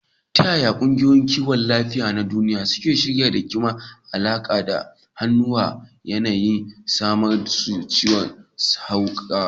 Ta yaya kungiyoyin kiwon lafiya na duniya suke shiri da ke da alaka da hauhawar yanayi kamar su ciwon hauka?